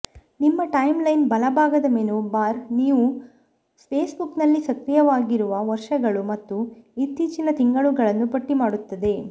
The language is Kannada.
ನಿಮ್ಮ ಟೈಮ್ಲೈನ್ನ ಬಲಭಾಗದ ಮೆನು ಬಾರ್ ನೀವು ಫೇಸ್ಬುಕ್ನಲ್ಲಿ ಸಕ್ರಿಯರಾಗಿರುವ ವರ್ಷಗಳು ಮತ್ತು ಇತ್ತೀಚಿನ ತಿಂಗಳುಗಳನ್ನು ಪಟ್ಟಿಮಾಡುತ್ತದೆ